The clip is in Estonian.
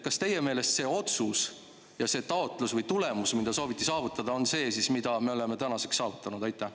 Kas teie meelest see, mida sooviti saavutada, on see, mille me oleme tänaseks saavutanud?